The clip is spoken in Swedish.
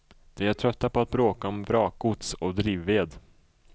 De är trötta på att bråka om vrakgods och drivved.